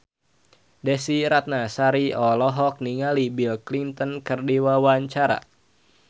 Desy Ratnasari olohok ningali Bill Clinton keur diwawancara